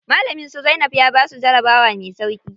Malamin su Zainab ya basu jarabawa me sauƙi.